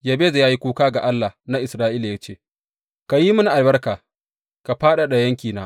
Yabez ya yi kuka ga Allah na Isra’ila ya ce, Ka yi mini albarka ka fadada yankina!